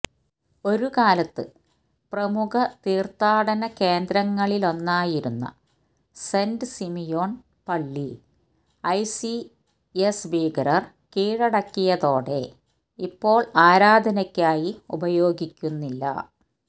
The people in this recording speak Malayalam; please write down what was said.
ഒരുകാലത്ത് പ്രമുഖ തീർത്ഥാടന കേന്ദ്രങ്ങളിലൊന്നായിരുന്ന സെന്റ് സിമിയോൺ പള്ളി ഐസിസ് ഭീകരർ കീഴടക്കിയതോടെ ഇപ്പോൾ ആരാധനയ്ക്കായി ഉപയോഗിക്കുന്നില്ല